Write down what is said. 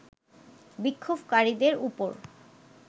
বিক্ষোভকারীদের ওপর